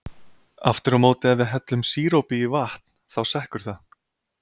Aftur á móti ef við hellum sírópi í vatn, þá sekkur það.